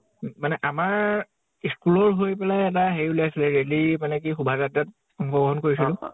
মানে আমাৰ school ৰ হৈ পেলে এটা হেৰি ওলিয়াইছিল rally মানে কি শুভাযাত্ৰাত কৰিছিলো